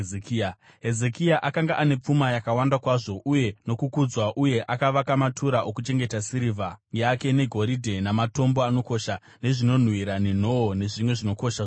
Hezekia akanga ane pfuma yakawanda kwazvo uye nokukudzwa, uye akavaka matura okuchengeta sirivha yake negoridhe namatombo anokosha, nezvinonhuhwira, nenhoo nezvimwe zvinokosha zvose.